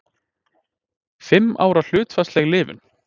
Fimm ára hlutfallsleg lifun.